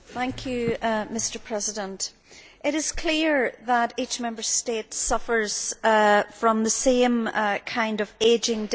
Mr President, it is clear that each Member State suffers from the same kind of ageing demographics.